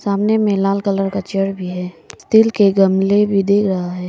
सामने में लाल कलर का चेयर भी है तिल के गमले भी देख रहा है।